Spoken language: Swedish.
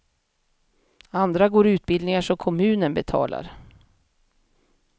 Andra går utbildningar som kommunen betalar.